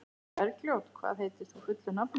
Bergljót, hvað heitir þú fullu nafni?